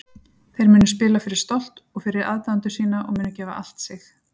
Þeir munu spila fyrir stolt og fyrir aðdáendur sína og munu gefa allt sig.